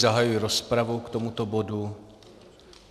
Zahajuji rozpravu k tomuto bodu.